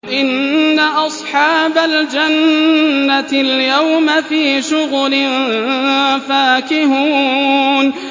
إِنَّ أَصْحَابَ الْجَنَّةِ الْيَوْمَ فِي شُغُلٍ فَاكِهُونَ